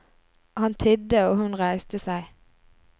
Han tidde og hun reiste seg.